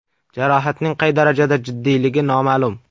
Jarohatning qay darajada jiddiyligi noma’lum.